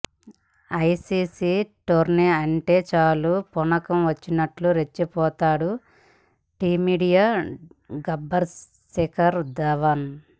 ICC tourney అంటే చాలు పూనకం వచ్చినట్టు రెచ్చిపోతాడు టీమిండియా గబ్బర్ శిఖర్ ధావన్